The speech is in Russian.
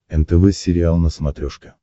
нтв сериал на смотрешке